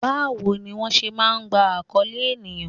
Báwo ni wón ṣé máa ń gba akoole ènìyàn?